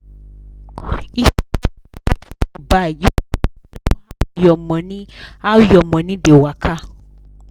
if you dey check wetin you buy you fit know how your money how your money dey waka